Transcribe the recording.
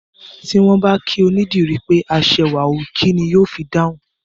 Tí wọ́n bá kí onídìrí pé aṣẹwà o, kín ni yó fi dáhùn?